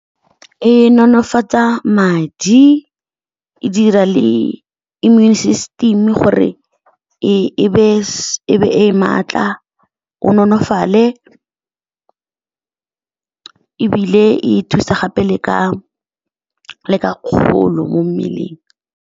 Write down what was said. E nonofatsa madi, e dira le immune system gore e be e matla, o nolofale, ebile e thusa gape le ka kgolo mo mmeleng.